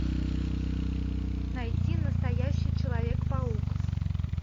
найти настоящий человек паук